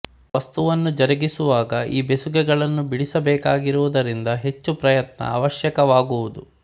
ವಸ್ತುವನ್ನು ಜರುಗಿಸುವಾಗ ಈ ಬೆಸುಗೆಗಳನ್ನು ಬಿಡಿಸಬೇಕಾಗುವುದರಿಂದ ಹೆಚ್ಚು ಪ್ರಯತ್ನ ಆವಶ್ಯಕವಾಗುವುದು